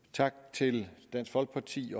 tak til dansk folkeparti